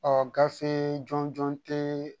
Ɔ gafe jɔnjɔn tɛ